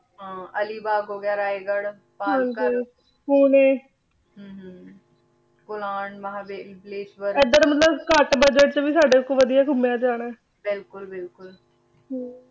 ਹਾਂ ਅਲੀ ਬਾਘ ਹੋ ਗਯਾ ਰੇ ਗਢ਼ ਪਹਰ ਗੰਜ ਹਾਂ ਪੁਣੇ ਹਨ ਹਨ ਕੁਲਾਂ ਮਹਾਬ੍ਲੇਸ਼ ਵਾਰ ਏਡਰ ਮਤਲਬ ਕਤ ਬੁਦ੍ਗੇਤ ਚ ਵੀ ਸਾਡੇ ਕੋਲੋਂ ਵਾਦਿਯ ਘੁਮ੍ਯਾ ਜਾਣਾ ਆਯ ਬਿਲਕੁਲ ਬਿਲਕੁਲ ਹਨ